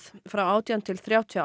frá átján til þrjátíu og